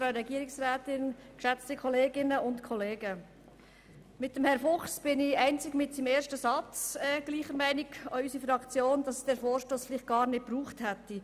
Mit Herrn Fuchs sind ich und auch unsere Fraktion einzig bei seinem ersten Satz gleicher Meinung, nämlich dass es den Vorstoss vielleicht gar nicht gebraucht hätte.